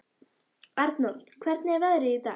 Arnold, hvernig er veðrið í dag?